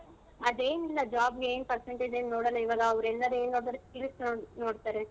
ಅದೇನಿಲ್ಲ job ಗೆ ಏನ್ percentage ಏನ್ ನೋಡಲ್ಲ ಇವಾಗ ಅವ್ರೆಲ್ಲ skills ನೋ~ ನೋಡ್ತಾರೆ.